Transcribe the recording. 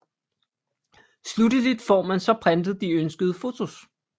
Slutteligt får man så printet de ønskede fotos